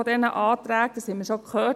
Das haben wir bereits gehört.